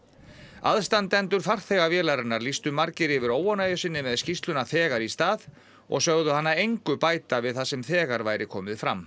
aðstandendur farþega vélarinnar lýstu margir yfir óánægju sinni með skýrsluna þegar í stað og sögðu hana engu bæta við það sem þegar væri komið fram